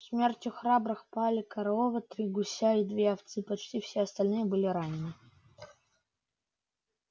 смертью храбрых пали корова три гуся и две овцы почти все остальные были ранены